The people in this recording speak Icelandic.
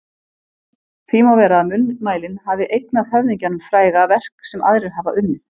Því má vera að munnmælin hafi eignað höfðingjanum fræga verk sem aðrir hafa unnið.